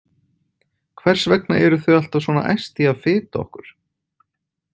Hvers vegna eru þau alltaf svona æst í að fita okkur?